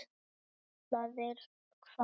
Ætlaðir hvað?